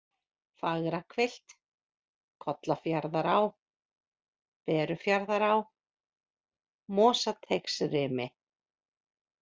Fagrahvilft, Kollafjarðará, Berufjarðará, Mosateigsrimi